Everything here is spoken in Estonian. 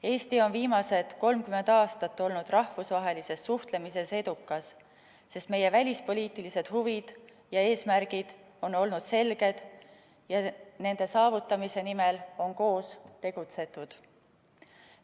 Eesti on viimased 30 aastat olnud rahvusvahelises suhtlemises edukas, sest meie välispoliitilised huvid ja eesmärgid on olnud selged ja nende saavutamise nimel on koos tegutsetud.